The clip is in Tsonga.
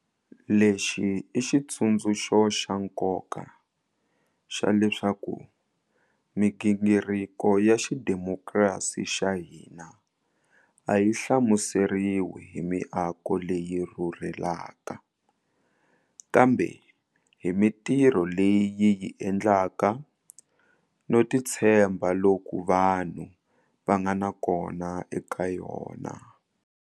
Lexi i xitsundzuxo xa nkoka xa leswaku migingiriko ya xidemokirasi xa hina a yi hlamuseriwi hi miako leyi yi rhurhelaka, kambe hi mitirho leyi yi yi endlaka no titshemba loku vanhu va nga na kona eka yona.